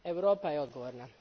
Europa je odgovorna.